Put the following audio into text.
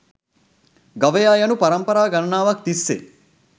ගවයා යනු පරම්පරා ගණනාවක් තිස්සේ